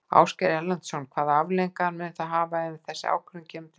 Ásgeir Erlendsson: Hvaða afleiðingar mun það hafa ef þessi ákvörðun kemur til með að standa?